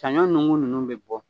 Sanɲɔ nukun nunnu bɛ bɔ.